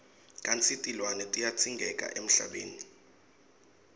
kantsi tilwane tiyadzingeka emhlabeni